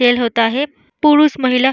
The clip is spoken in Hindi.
होता है पुरूष-महिला --